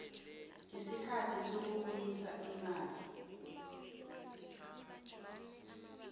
isikhathi sokubuyisa imali